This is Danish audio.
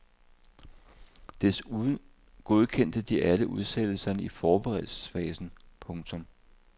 Desuden godkendte de alle udsættelserne i forberedelsesfasen. punktum